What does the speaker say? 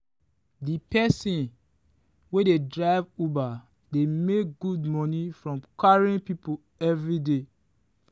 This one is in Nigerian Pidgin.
the person wey dey drive uber dey make good money from carrying people every day.